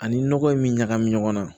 Ani nɔgɔ in bɛ ɲagami ɲɔgɔn na